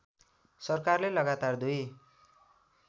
सरकारले लगातार दुई